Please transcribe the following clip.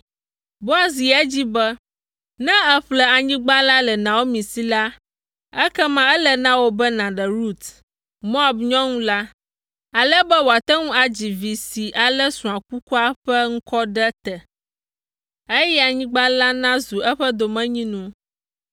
Boaz yi edzi be, “Ne èƒle anyigba la le Naomi si la, ekema ele na wò be nàɖe Rut, Moab nyɔnu la, ale be wòate ŋu adzi vi si alé srɔ̃a kukua ƒe ŋkɔ ɖe te, eye anyigba la nazu eƒe domenyinu.”